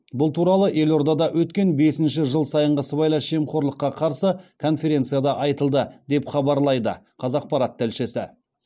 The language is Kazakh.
бұл туралы елордада өткен бесінші жыл сайынғы сыбайлас жемқорлыққа қарсы конференцияда айтылды деп хабарлайды қазақпарат тілшісі